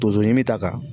Tonso ɲimi ta ka